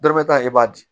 Dɔrɔmɛ kelen b'a di